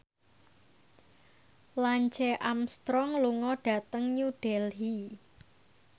Lance Armstrong lunga dhateng New Delhi